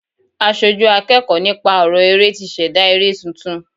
Aṣojú akẹ́kọ̀ọ́ nípa ọrọ eré tí ṣẹ̀dá eré tuntun.